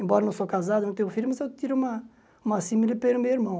Embora eu não sou casado, não tenho filho, mas eu tiro uma uma pelo meu irmão.